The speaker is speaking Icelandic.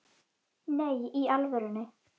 Nei, í alvöru